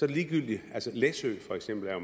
det ligegyldigt altså læsø for eksempel er